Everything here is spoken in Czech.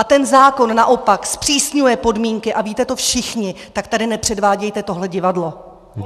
A ten zákon naopak zpřísňuje podmínky, a víte to všichni, tak tady nepředvádějte tohle divadlo.